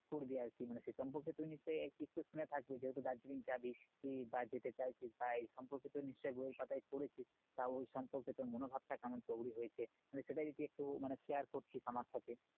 ঘুরবি আর কি মানে সেসম্পর্কে তুই নিশ্চয় একটু শুনে থাকবি যেহুতু দার্জিলিং যাবি বা যেতে চাইছিস বা এসম্পর্কে তো নিশ্চয় বই এর পাতায় পড়েছিস তা ওই সম্পর্কে তোর মনোভাব টা কেমন তৈরি হয়েছে মানে সেটা যদি একটু মানে share করতি আমার সাথে